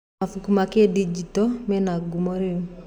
Mabuku ma kĩndinjito me ngumo rĩu?